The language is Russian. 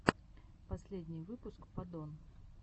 последний выпуск падон